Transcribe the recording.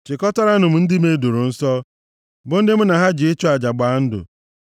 “Chikọtaranụ m ndị m e doro nsọ, bụ ndị mụ na ha ji ịchụ aja gbaa ndụ.”